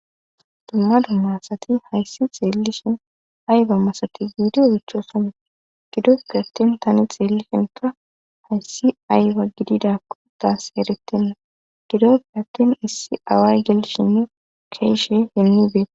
Dumma du masati hayssi xeellishin ayba masati biidi wichosana gidoppe attin tani xeellishin ka hayssi ayba gididakko taas heretinna gidoppe attin issi away gelshi nu keeshe hinnibee